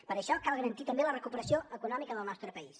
per això cal garantir també la recuperació econòmica del nostre país